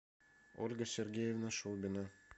ольга сергеевна шубина